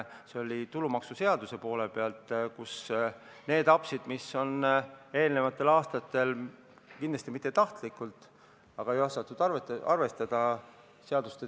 See oli tulumaksuseaduse poole pealt, kus oli eelnevatel aastatel tehtud apse, kindlasti mitte tahtlikult, aga seaduste tegemisel ei osatud kõike arvestada.